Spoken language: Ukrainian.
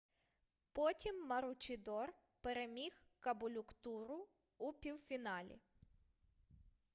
потім маручідор переміг каболюктуру у півфіналі